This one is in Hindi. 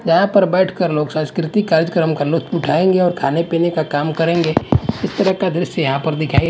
यहां पर बैठकर लोक संस्कृति कार्यक्रम का लुफ्त उठाएंगे और खाने-पीने का काम करेंगे इस तरह का दृश्य यहां पर दिखाई --